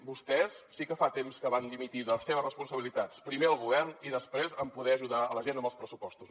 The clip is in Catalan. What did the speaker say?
vostès sí que fa temps que van dimitir de les seves responsabilitats primer al govern i després en poder ajudar la gent amb els pressupostos